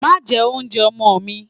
Màá jẹ oúnjẹ ọmọ mi!